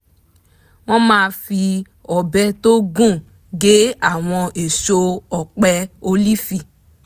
wọ́n máa fi ọ̀bẹ tó gùn gé àwọn èso ọ̀pẹ ólífì